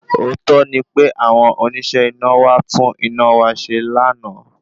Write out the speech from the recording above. Òótó ni pé àwọn oníṣẹ́ iná wá tún iná wá ṣe lánàá